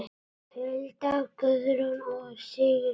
Hulda, Guðrún og Sigrún.